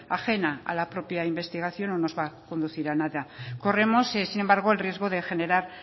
ajena a la propia investigación no nos va a conducir a nada corremos sin embargo el riesgo de generar